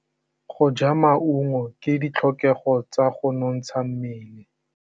Go ja maungo ke ditlhokegô tsa go nontsha mmele.